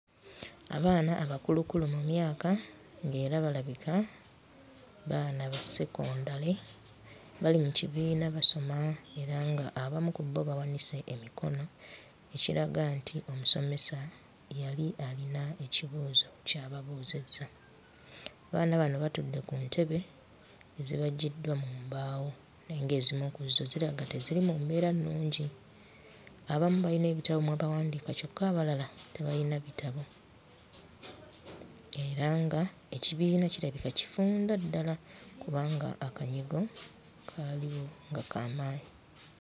Abaana abakulukulu mu myaka ng'era balabika baana ba sekondale, bali mu kibiina basoma era nga abamu ku bo bawanise emikono ekiraga nti omusomesa yali alina ekibuuzo ky'ababuuzizza. Abaana bano batudde ku ntebe ezibajjiddwa mu mbaawo, naye ng'ezimu ku zo ziraga teziri mu mbeera nnungi. Abamu balina ebitabo mwe bawandiika kyokka abalala tebalina bitabo. Era nga ekibiina kirabika kifunda ddala kubanga akanyigo kaaliwo nga kaamaanyi.